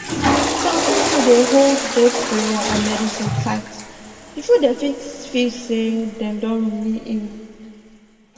some people dey hold both prayer and medicine tight before dem fit feel say dem don really heal